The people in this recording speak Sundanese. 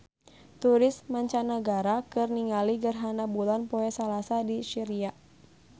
Turis mancanagara keur ningali gerhana bulan poe Salasa di Syria